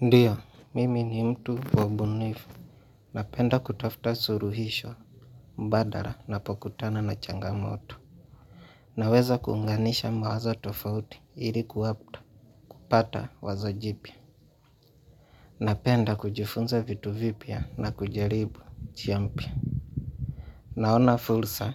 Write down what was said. Ndio, mimi ni mtu wabunifu, na penda kutafta suluhisho, badala napokutana na changamoto. Naweza kunganisha mawazo tofauti ili kupata wazo jipya na penda kujifunza vitu vipya na kujaribu njia mpya. Naona fursa,